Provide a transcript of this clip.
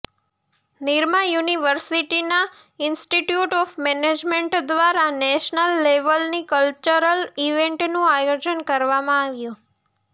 નિરમા યુનિવર્સિટીનાં institute of management દ્વારા national લેવલની કલ્ચરલ ઈવેન્ટનું આયોજન કરવામાં આવ્યું